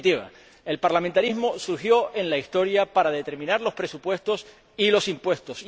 En definitiva, el parlamentarismo surgió en la Historia para determinar los presupuestos y los impuestos.